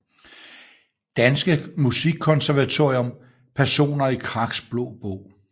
Danske Musikkonservatorium Personer i Kraks Blå Bog